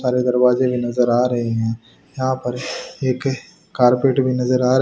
सारे दरवाजे में नजर आ रहे हैं यहां पर एक कारपेट भी नजर आ रहा--